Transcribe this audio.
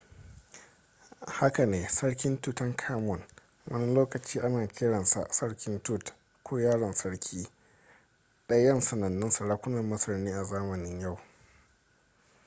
haka ne sarki tutankhamun wani lokaci ana kiransa sarki tut ko yaron sarki ɗayan sanannun sarakunan masar ne a zamanin yau